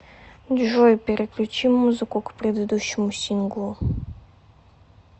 джой переключи музыку к предыдущему синглу